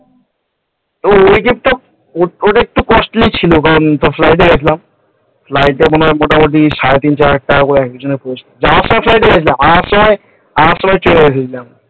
তো তোর ওইটা একটু costly ছিল flight গিয়েছিলাম flight এক একজনের ওই চার হাজার টাকা করে পড়েছিল। যাওয়ার সময় flight গিয়েছিলাম আসার সময় ট্রেনে এসেছিলাম ।